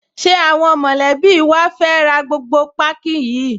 Ṣé àwọn mọ̀lẹ́bí wa fẹ́ ra gbogbo páákí yìí?